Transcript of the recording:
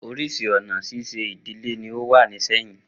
Oríṣi awọn ọna ṣiṣe idile ni ó wà nisinyi